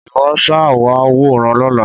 Ìwọ ṣáà wá wòran lọ́la.